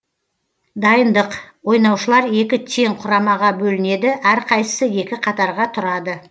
дайындық ойнаушылар екі тең құрамаға бөлінеді әрқайсысы екі қатарға тұрады